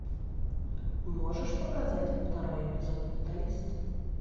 можешь показать второй эпизод менталист